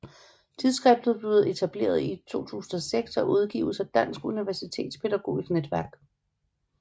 Tidsskriftet blev etableret i 2006 og udgives af Dansk Universitetspædagogisk Netværk